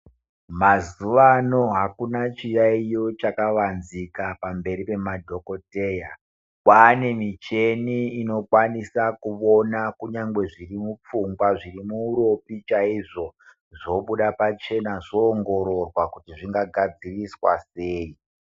Mazuwano akuna chiyaiyo chakavanzika pamberi pema dhokoteya. Kwane michini inokwanisa kuvona kunyangwe zviri mupfungwa, zviri muropa chaizvo, zvobuda pachena zvowongororwa kuti zvingagadziriswa sei.